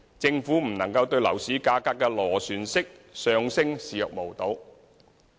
政府不能對樓市價格的螺旋式上升視若無睹。